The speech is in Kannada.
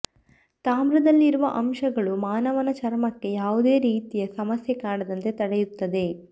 ತಾಮ್ರದಲ್ಲಿರುವ ಅಂಶಗಳು ಮಾನವನ ಚರ್ಮಕ್ಕೆ ಯಾವುದೇ ರೀತಿಯ ಸಮಸ್ಯೆ ಕಾಡದಂತೆ ತಡೆಯುತ್ತದೆ